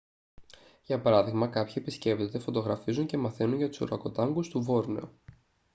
για παράδειγμα κάποιοι επισκέπτονται φωτογραφίζουν και μαθαίνουν για τους ουρακοτάνγκους του βόρνεο